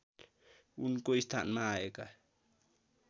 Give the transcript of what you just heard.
उनको स्थानमा आएका